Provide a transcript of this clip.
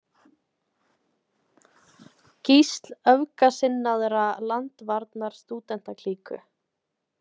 Gísl öfgasinnaðrar landvarnarstúdentaklíku.